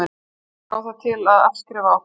Fólk á það til að afskrifa okkur.